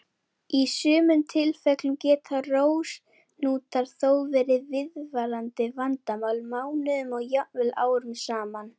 Í sumum tilfellum geta rósahnútar þó verið viðvarandi vandamál mánuðum og jafnvel árum saman.